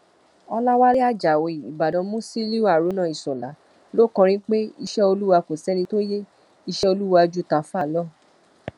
ọlàwé ajáò ìbàdàn musiliu haruna iṣọlá ló kọrin pé iṣẹ olúwa kò sẹni tó yẹ iṣẹ olúwa ju tààfà lọ